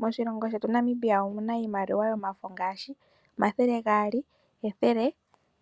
Moshilongo shetu Namibia omuna iimaliwa yomafo ngaashi omathele gaali, ethele,